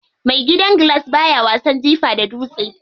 Mai gidan gilas baya wasan jifa da dutse.